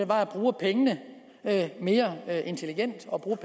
var at bruge pengene mere intelligent og bruge